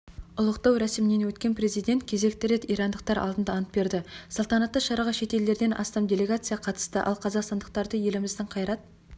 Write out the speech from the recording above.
ұлықтау рәсімінен өткен президент кезекті рет ирандықтар алдында ант берді салтанатты шараға шет елдерден астам делегация қатысты ал қазақстандықтарды еліміздің қайрат